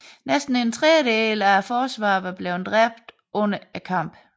Næsten en tredjedel af forsvarerne var blevet dræbt under kampen